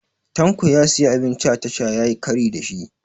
Tanko ya siyi abinci a tasha yayi kari da shi